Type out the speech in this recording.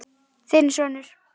Þinn sonur.